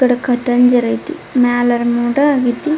ಇಕಡ್ ಕಟಂಜರ್ ಆಯ್ತಿ ಮೇಲ ಮೋಡ ಆಗೈತಿ.